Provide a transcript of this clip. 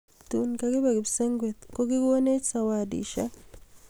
tun lakibe kipsengwet ko kigonech sawadishek